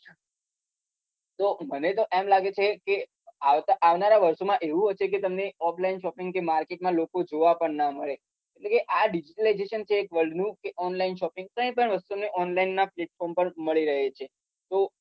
મને તો એમ લાગે છે કે આવનારા વર્ષોમાં એવું હશે કે offline shopping માર્કેટ માં લોકો કઈ જોવા પણ ના મળે આ display એક world નું કે online shopping કઈ પણ વસ્તુ online ના platform પર મળી રહે છે તો